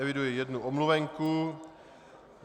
Eviduji jednu omluvenku.